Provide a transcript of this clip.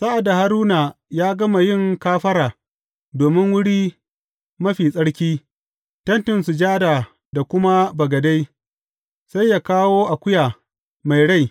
Sa’ad da Haruna ya gama yin kafara domin Wuri Mafi Tsarki, Tentin Sujada da kuma bagade, sai yă kawo akuya mai rai.